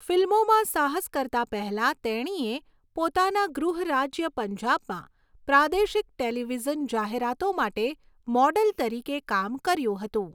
ફિલ્મોમાં સાહસ કરતા પહેલાં તેણીએ પોતાના ગૃહ રાજ્ય પંજાબમાં પ્રાદેશિક ટેલિવિઝન જાહેરાતો માટે મોડલ તરીકે કામ કર્યું હતું.